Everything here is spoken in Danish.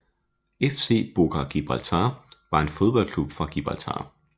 FC Boca Gibraltar var en fodboldklub fra Gibraltar